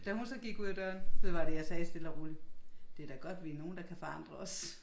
Da hun så gik ud af døren så var det jeg sagde stille og roligt. Det da godt vi er nogen der kan forandre os